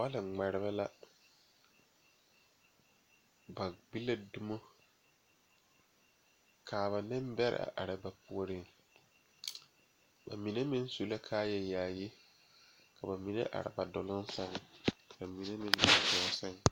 Bɔl ŋmɛɛre la ba gbola domo lɔpeɛle ,lɔziiri ane aropelɛ la be a kyɛ ka te yaga yaga meŋ ŋmaa gɔgle laa kaa paŋ be a sonsogle soga mine are ba gɔɔ saŋ.